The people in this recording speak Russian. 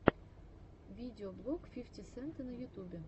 видеоблог фифти сента на ютубе